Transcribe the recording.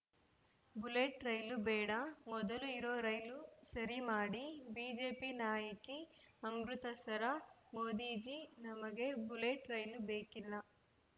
bullet ರೈಲು ಬೇಡ ಮೊದಲು ಇರೋ ರೈಲು ಸರಿ ಮಾಡಿ ಬಿಜೆಪಿ ನಾಯಕಿ ಅಮೃತಸರ ಮೋದೀಜೀ ನಮಗೆ ಬುಲೆಟ್‌ ರೈಲು ಬೇಕಿಲ್ಲ